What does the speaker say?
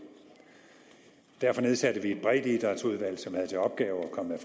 derfor nedsatte vi et breddeidrætsudvalg som havde til opgave at komme med